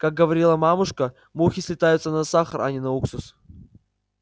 как говорила мамушка мухи слетаются на сахар а не на уксус